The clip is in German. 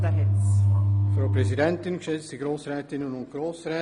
Er wünscht das Wort und hat es.